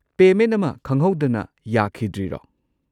Payment ꯑꯃ ꯈꯪꯍꯧꯗꯅ ꯌꯥꯈꯤꯗ꯭ꯔꯤꯔꯣ?